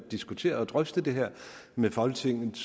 at diskutere og drøfte det her med folketingets